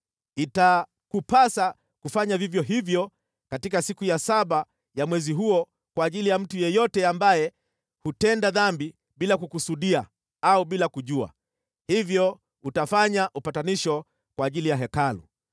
Itakupasa kufanya vivyo hivyo katika siku ya saba ya mwezi huo kwa ajili ya mtu yeyote ambaye hutenda dhambi bila kukusudia au bila kujua, hivyo utafanya upatanisho kwa ajili ya Hekalu.